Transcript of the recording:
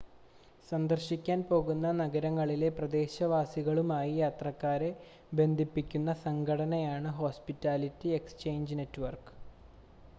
സന്ദർശിക്കാൻ പോകുന്ന നഗരങ്ങളിലെ പ്രദേശവാസികളുമായി യാത്രക്കാരെ ബന്ധിപ്പിക്കുന്ന സംഘടനയാണ് ഹോസ്പിറ്റാലിറ്റി എക്സ്ചേഞ്ച് നെറ്റ്‌വർക്ക്